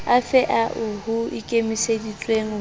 afe ao ho ikemiseditsweng ho